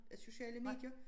Sociale medier